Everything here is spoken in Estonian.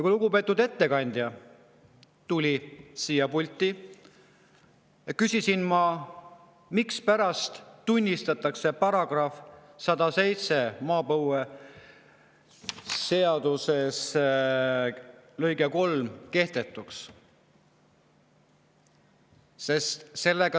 Kui lugupeetud ettekandja tuli siia pulti, siis küsisin ma, mispärast tunnistatakse maapõueseaduses § 107 lõige 3 kehtetuks.